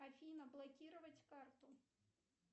афина блокировать карту